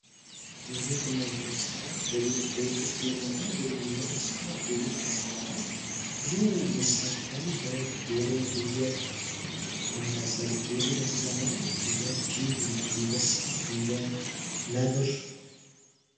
የቤት እና የዱር እንስሳት ቤት ውስጥ የሚኖር እና ዱር የሚኖር እንስሳ የቤት እንስሳ ት ብዙ እንስሳቶች አሉ በግ፣ ዶሮ ፣ፍየል የመሳሰሉት የዱር እንስሳ ማለት እንደ ጅብ፣ እንደ አንበሳ፣ እንደ ነብር